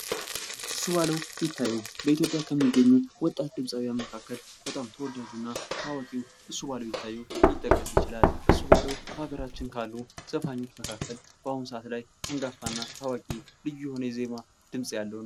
እሱባለው ይታየው በኢትዮጵያ ከሚገኙ ወጣት ድምፃውያን መካከል በጣም ተወዳጅ እና ታዋቂው እሱባለው ይታየው ሊጠቀስ ይችላል ። እሱባለው በሀገራችን ካሉ ዘፋኞች መካከል በአሁን ሰዓት ላይ አንጋፋ እና ታዋቂ ልዩ የሆነ የዜማ ድምፅ ያለው ነው ።